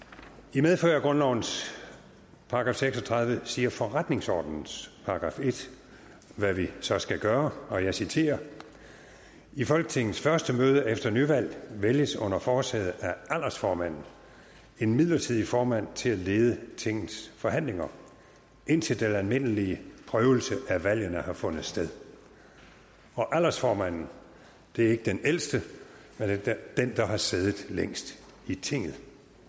i medfør af grundlovens § seks og tredive siger forretningsordenens §1 hvad vi så skal gøre og jeg citerer i folketingets første møde efter nyvalg vælges under forsæde af aldersformanden en midlertidig formand til at lede tingets forhandlinger indtil den almindelige prøvelse af valgene har fundet sted aldersformanden det er ikke den ældste men den der har siddet længst i tinget